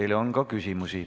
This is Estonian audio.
Teile on ka küsimusi.